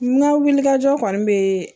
N ka wulikajɔ kɔni be